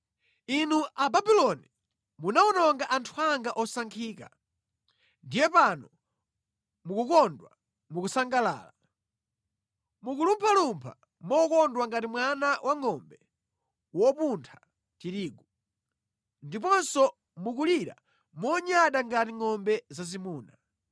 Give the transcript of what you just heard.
“Inu Ababuloni, munawononga anthu anga osankhika. Ndiye pano mukukondwa, mukusangalala. Mukulumphalumpha mokondwa ngati mwana wangʼombe wopuntha tirigu ndiponso mukulira monyada ngati ngʼombe zazimuna.